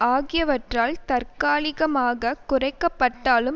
ஆகியவற்றால் தற்காலிகமாக குறைக்க பட்டாலும்